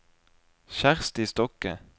Kjersti Stokke